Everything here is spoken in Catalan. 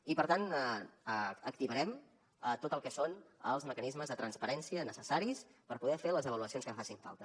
i per tant activarem tot el que són els mecanismes de transparència necessaris per poder fer les avaluacions que facin falta